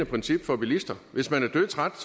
princip for bilister hvis man er dødtræt